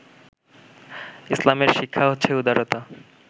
ইসলামের শিক্ষা হচ্ছে উদারতা